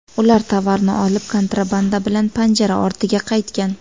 Ular tovarni olib, kontrabanda bilan panjara ortiga qaytgan.